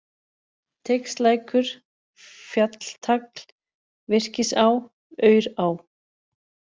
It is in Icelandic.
Teigslækur, Fjalltagl, Virkisá, Aurá